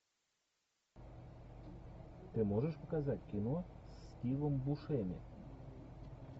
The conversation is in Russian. ты можешь показать кино с стивом бушеми